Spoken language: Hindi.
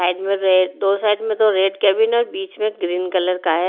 साइड में रे दो साइड में तो रेड कैबिन और बीच में ग्रीन कलर का है।